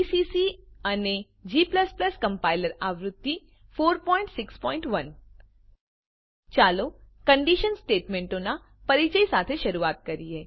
GCC અને g compiler આવૃત્તિ 461 ચાલો કંડીશન સ્ટેટમેંટોનાં પરીચય સાથે શરૂઆત કરીએ